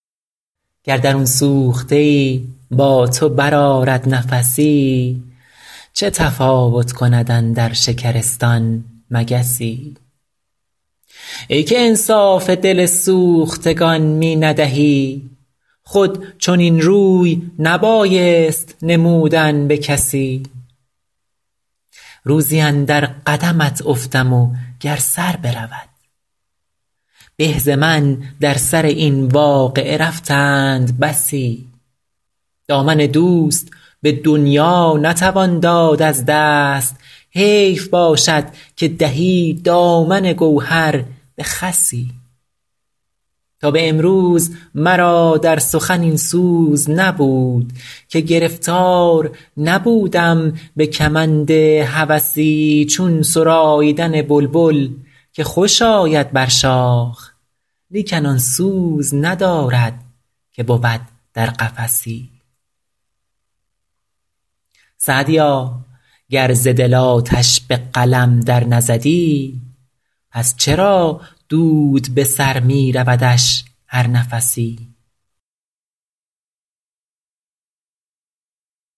گر درون سوخته ای با تو برآرد نفسی چه تفاوت کند اندر شکرستان مگسی ای که انصاف دل سوختگان می ندهی خود چنین روی نبایست نمودن به کسی روزی اندر قدمت افتم و گر سر برود به ز من در سر این واقعه رفتند بسی دامن دوست به دنیا نتوان داد از دست حیف باشد که دهی دامن گوهر به خسی تا به امروز مرا در سخن این سوز نبود که گرفتار نبودم به کمند هوسی چون سراییدن بلبل که خوش آید بر شاخ لیکن آن سوز ندارد که بود در قفسی سعدیا گر ز دل آتش به قلم در نزدی پس چرا دود به سر می رودش هر نفسی